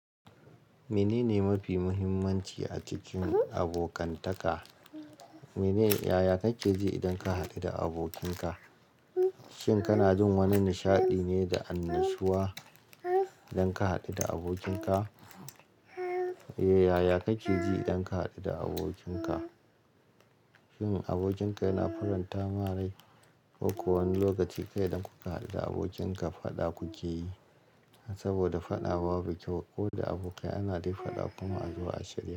Menene mafi muhimmanci a cikin abokantaka? Mene yaya kake ji idan ka haɗu da abokinka? Shin kana jin wani nishaɗi ne da annashuwa idan ka haɗu da abokinka? Eh, yaya kake ji idan ka haɗu da abokinka? Shin abokinka yana faranta ma rai? Ko wani lokaci kai da kuka haɗu da abokinka faɗa kuke yi? Saboda faɗa babu kyau, ko da abokai ana dai faɗa kuma a zuwa a shirya.